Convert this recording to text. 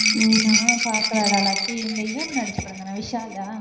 உம் உம் நானும் பாக்கலடா, லத்தி. இந்த இவன் நடிச்ச படம்தானே, விஷாலா?